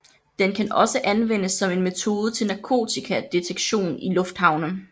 Den kan også anvendes som en metode til narkotikadetektion i lufthavne